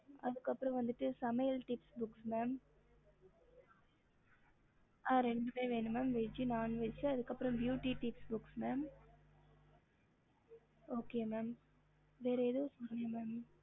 ஹம்